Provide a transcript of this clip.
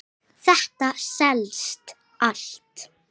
Þetta selst allt.